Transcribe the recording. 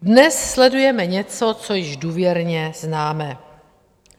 Dnes sledujeme něco, co již důvěrně známe.